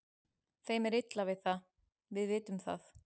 Þeim er illa við það, við vitum það.